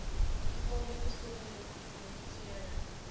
gevaarlike stowwe lisensiëring